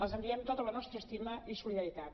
els enviem tota la nostra estima i solidaritat